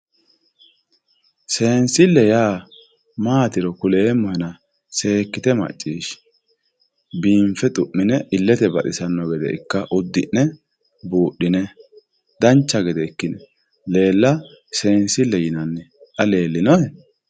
seensille yaa maatiro kuleemmohena seekkite macciishshi biinfe xu'mine illete baxisanno gede ikka uddi'ne buudhine dancha gede ika seensille yinanni xa leellinohe.